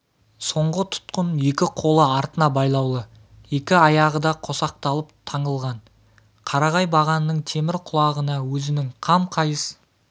соңғы тұтқын екі қолы артына байлаулы екі аяғы да қосақталып таңылған қарағай бағанның темір құлағына өзінің қам қайыс